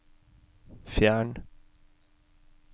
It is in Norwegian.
fjern